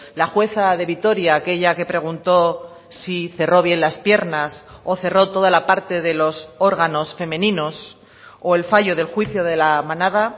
la jueza de vitoria aquella que preguntó si cerró bien las piernas o cerró toda la parte de los órganos femeninos o el fallo del juicio de la manada